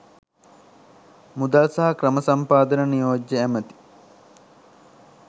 මුදල් සහ ක්‍රම සම්පාදන නියෝජ්‍ය ඇමැති